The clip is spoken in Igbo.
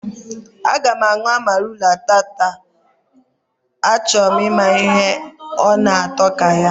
Aga m anwụ amarula tata, a choro m ịma ihe ọ na atọ ka ya